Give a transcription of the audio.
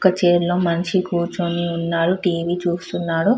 ఒక చైర్ లో మనిషి కూర్చొని ఉన్నాడు టీ.వీ. చూస్తూ ఉన్నాడు.